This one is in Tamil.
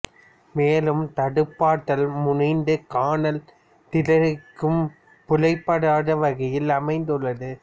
மேலும் தடுப்பாற்றல் முனைந்து காணல் திறனிற்கும் புலப்படாத வகையில் அமைந்துள்ளது